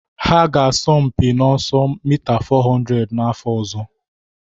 Ha ga-asọ mpi n'ọsọ mita 400 n'afọ ọzọ.